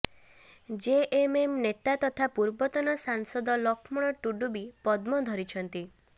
JMM ନେତା ତଥା ପୂର୍ବତନ ସାଂସଦ ଲକ୍ଷ୍ମଣ ଟୁଡୁ ବି ପଦ୍ମ ଧରିଛନ୍ତି